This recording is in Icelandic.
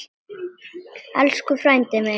Elsku frændi minn.